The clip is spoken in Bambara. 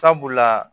Sabula